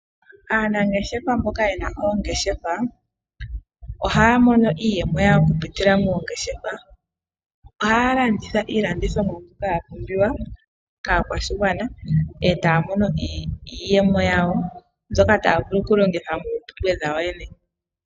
Aanangeshefa mboka yena oongeshefa ohaya mono iiyemo yawo okupitila moongeshefa . Ohaya landitha iilandithomwa mbyoka ya pumbiwa kaakwashigwana etaya mono iiyemo yawo mbyoka taya vulu okulongitha moompumbwe dhawo yene.